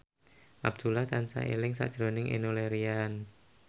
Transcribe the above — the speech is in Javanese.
Abdullah tansah eling sakjroning Enno Lerian